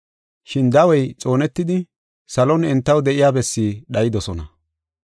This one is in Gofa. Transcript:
Shin dawey xoonetidi salon entaw de7iya bessi dhayidosona.